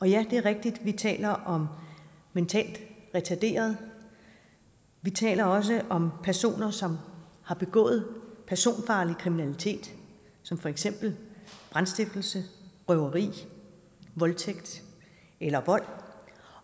ja det er rigtigt at vi taler om mentalt retarderede vi taler også om personer som har begået personfarlig kriminalitet som for eksempel brandstiftelse røveri voldtægt eller vold